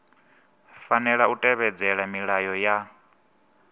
fanela u tevhedzela milayo ya